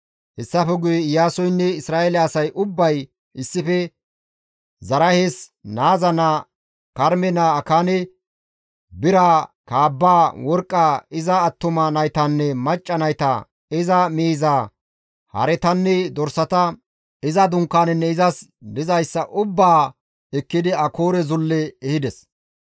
Hessafe guye Iyaasoynne Isra7eele asay ubbay issife Zaraahes naaza naa Karme naa Akaane, biraa, kaabbaa, worqqaa, iza attuma naytanne macca nayta, iza miizaa, haretanne dorsata, iza dunkaanenne izas dizayssa ubbaa ekkidi Akoore zulle ehides.